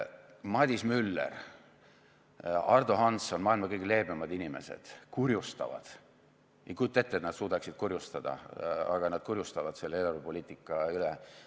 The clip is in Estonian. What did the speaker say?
Madis Müller, Ardo Hansson, maailma kõige leebemad inimesed, kurjustavad – ei kujuta ette, et nad suudaksid kurjustada, aga nad kurjustavad – selle eelarvepoliitika üle.